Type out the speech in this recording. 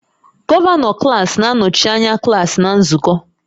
Gọvanọ klaasị na-anọchi anya klaasị na nzukọ